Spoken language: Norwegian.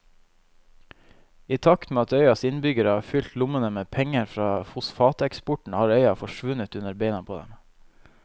I takt med at øyas innbyggere har fylt lommene med penger fra fosfateksporten har øya forsvunnet under beina på dem.